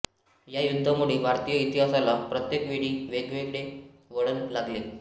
या युद्धांमुळे भारतीय इतिहासाला प्रत्येक वेळी वेगळे वळण लागले